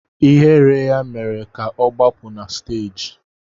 Ihere ya mere ka ọ gbapụ na stééji